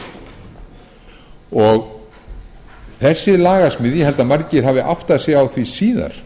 sinn hlut þessi lagasmíð ég held að margir hafi áttað sig á því síðar